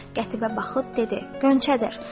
Qətiyə baxıb dedi: Gönçədir.